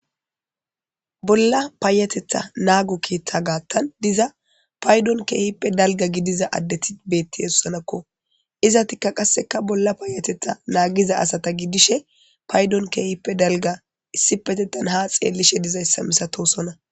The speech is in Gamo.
bolla paayatetha naago keeththa gaattan diza paydon keehippe dalga gidiza addeti beettihesussanakko izatikka qasseka bolla paayatetha naagiza asata gidishe paydon keehippe dalga issipetetan ha xeellishe dizayssa misatosona